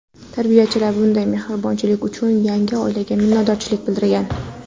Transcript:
Tarbiyachilar bunday mehribonchilik uchun yangi oilaga minnatdorchilik bildirgan.